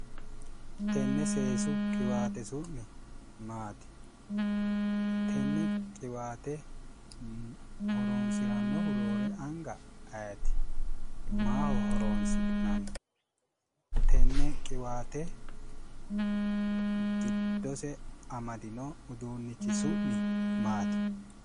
Tenne seesu qiwaate su'mi maati? Tenne qiwaate horonisirannihu roore aniga ayet? Maaho horoni'nani? Tenne qiwaate giddose amadino uduunich su'mi maati?